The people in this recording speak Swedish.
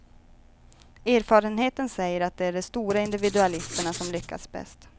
Erfarenheten säger att det är de stora individualisterna som lyckas bäst.